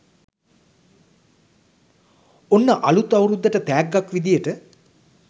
ඔන්න අලුත් අවුරුද්දට තැග්ගක් විදියට